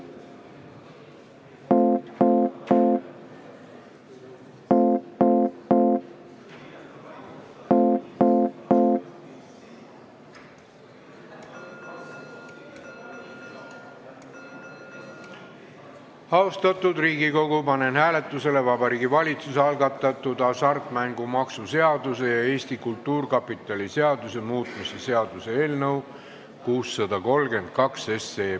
Austatud Riigikogu, panen hääletusele Vabariigi Valitsuse algatatud hasartmängumaksu seaduse ja Eesti Kultuurkapitali seaduse muutmise seaduse eelnõu 632.